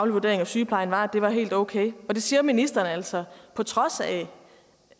vurdering af sygeplejen var at den var helt okay det siger ministeren altså på trods af